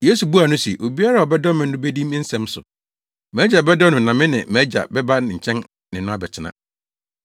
Yesu buaa no se, “Obiara a ɔdɔ me no bedi me nsɛm so. MʼAgya bɛdɔ no na me ne mʼAgya bɛba ne nkyɛn ne no abɛtena.